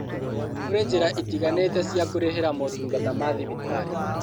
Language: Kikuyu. Kũrĩ njĩra itiganĩte cia kũrĩhĩra motungata ma thibitarĩ